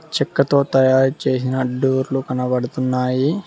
చెక్కతో తయారు చేసిన డోర్లు కనబడుతున్నాయి.